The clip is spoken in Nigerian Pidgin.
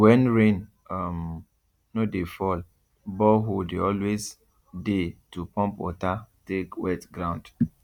when rain um no dey fall borehole dey always dey to pump water take wet ground